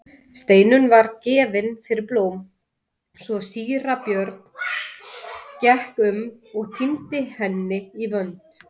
Steinunn var gefin fyrir blóm svo síra Björn gekk um og tíndi henni í vönd.